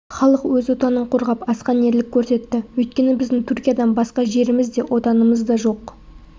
халық өз отанын қорғап асқан ерлік көрсетті өйткені біздің түркиядан басқа жеріміз де отанымыз да жоқ